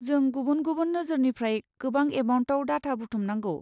जों गुबुन गुबुन नोजोरनिफ्राय गोबां एमाउन्टआव डाटा बुथुमनांगौ।